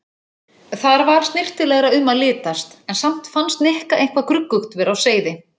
Þar var snyrtilegra um að litast en samt fannst Nikka eitthvað gruggugt vera á seyði.